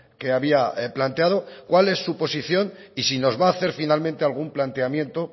que había planteado cuál es su posición y si nos va a hacer finalmente algún planteamiento